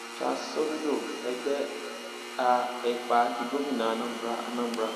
charles soludo ẹgbẹ a epa di gómìnà anambra anambra